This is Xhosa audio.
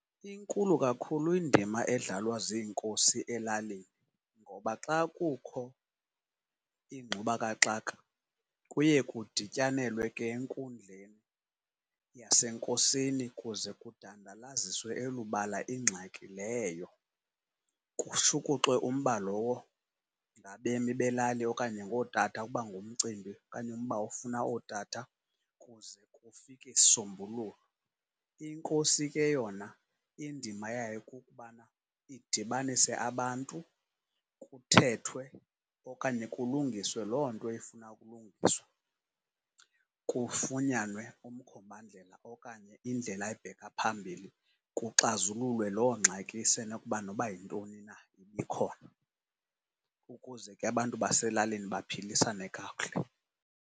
Inkulu kakhulu indima edlalwa ziinkosi elalini, ngoba xa kukho ingxubakaxaka kuye kudityanelwe ke enkundleni yasenkosini kuze kudandalaziswe elubala ingxaki leyo. Kushukuxwe umba lowo ngabemi belali, okanye ngootata ukuba ngumcimbi okanye umba ofuna ootata, kuze kufike isisombululo. Inkosi ke yona indima yayo kukubana idibanise abantu, kuthethwe okanye kulungiswe loo nto efuna ukulungiswa. Kufunyanwe umkhombandlela okanye indlela ebheka phambili kuxazululwe loo ngxaki isenokuba noba yintoni na ibikhona, ukuze ke abantu baselalini baphilisane kakuhle.